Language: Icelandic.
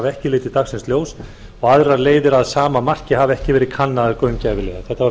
ekki litið dagsins ljós og aðrar leiðir að sama marki hafi ekki verið kannaðar gaumgæfilega þetta var